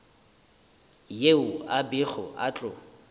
yeo a bego a tlo